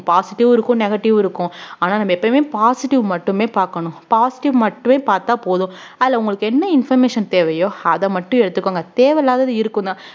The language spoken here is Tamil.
positive உம் இருக்கும் negative உம் இருக்கும் ஆனா நம்ம எப்பவுமே positive மட்டுமே பாக்கணும் positive மட்டுமே பார்த்தா போதும் அதுல உங்களுக்கு என்ன information தேவையோ அத மட்டும் எடுத்துக்கோங்க தேவையில்லாதது இருக்கும்தான்